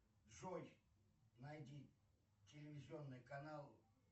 джой найди телевизионный канал